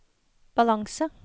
balanse